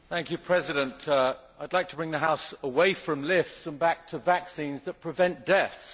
Mr President, I would like to bring the House away from lifts and back to vaccines which prevent deaths.